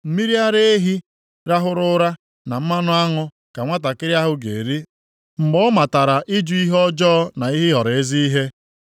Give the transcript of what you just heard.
Mmiri ara ehi rahụrụ arahụ na mmanụ aṅụ ka nwantakịrị ahụ ga-eri mgbe ọ matara ịjụ ihe ọjọọ na ịhọrọ ezi ihe.